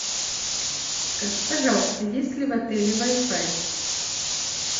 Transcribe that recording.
скажи пожалуйста есть ли в отеле вай фай